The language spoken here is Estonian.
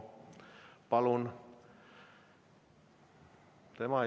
Palun!